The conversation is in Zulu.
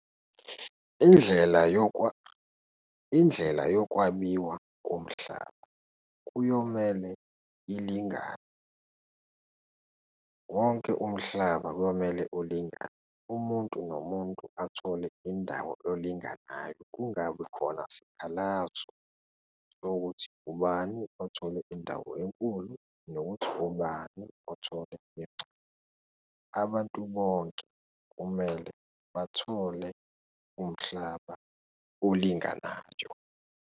Indlela indlela yokwabiwa komhlaba kuyomele ilingane, wonke umhlaba kuyomele ulingane, umuntu nomuntu athole indawo elinganayo, kungabi khona sikhalazo sokuthi ubani athole indawo enkulu nokuthi ubani othole encane. Abantu bonke kumele bathole umhlaba olinganayo.